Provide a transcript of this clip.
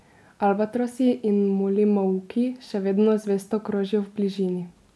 Albatrosi in molimauki še vedno zvesto krožijo v bližini.